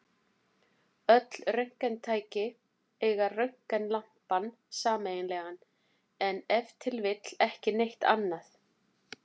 Öll röntgentæki eiga röntgenlampann sameiginlegan, en ef til vill ekki neitt annað!